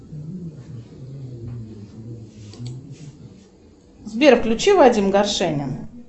сбер включи вадим горшенин